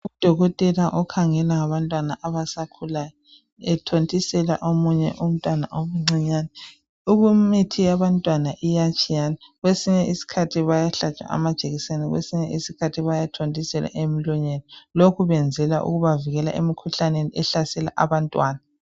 Udokotela okhangela ngabantwana abasakhulayo ethontisela omunye umntwana omncinyane ukunye imithi yabantwana iyatshiyana kwesinye isikhathi bayahlatshwa amajekiseni kwesinye isikhathi bayathontiselwa emlonyeni lokhu benzela ukuba babavikele emkhuhlaneni ehlasela abantwana.